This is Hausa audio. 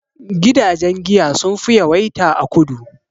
Gidajen giya sun fi yawaita a kudu